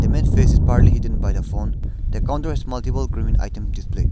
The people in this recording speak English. man's face is partly hidden by the phone the counter has multiple grooming item displayed.